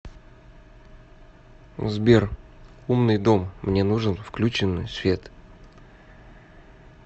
сбер умный дом мне нужен включенный свет